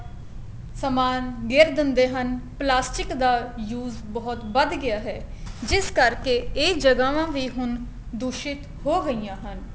ਸਮਾਨ ਗੇਰ ਦਿੰਦੇ ਹਨ plastic ਦਾ use ਬਹੁਤ ਵੱਧ ਗਿਆ ਹੈ ਜਿਸ ਕਰਕੇ ਇਹ ਜਗ੍ਹਾਵਾ ਵੀ ਹੁਣ ਦੂਸ਼ਿਤ ਹੋ ਗਈਆਂ ਹਨ